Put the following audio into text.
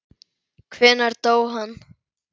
Hvenær dó hann?